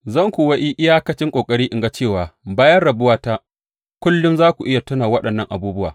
Zan kuwa yi iyakacin ƙoƙari in ga cewa bayan rabuwata kullum za ku iya tuna da waɗannan abubuwa.